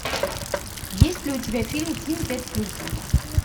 есть ли у тебя фильм ким пять с плюсом